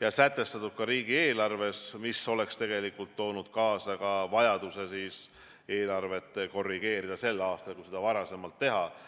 ja sätestatud ka riigieelarves, siis oleks see toonud kaasa vajaduse eelarvet korrigeerida sel aastal, kui seda oleks varem tehtud.